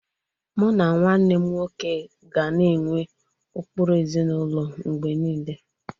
Mụ na nwanne m nwoke ga na-enwe ụkpụrụ ezinụlọ mgbe niile.